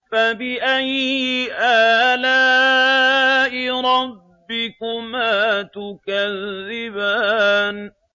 فَبِأَيِّ آلَاءِ رَبِّكُمَا تُكَذِّبَانِ